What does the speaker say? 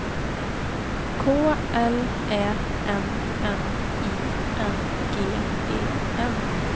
K L Ä N N I N G E N